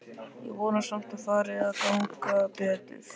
Ég vona samt að fari að ganga betur.